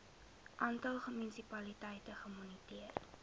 aantal munisipaliteite gemoniteer